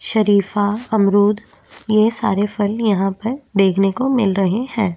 सरीफा अमरुद ये सारे फल यहाँ पर देखने को मिल रहें हैं।